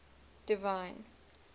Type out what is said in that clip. divine